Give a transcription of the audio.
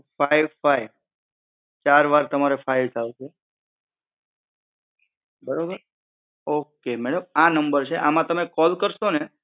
Five five ચાર વાર તમારે ફાઈવ એવી રીતે આવશે, બરોબર? ઓકે મેડમ આ નંબર છે આમાં તમે કોલ કર્શોને